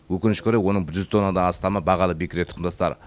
өкінішке орай оның жүз тоннадан астамы бағалы бекіре тұқымдастар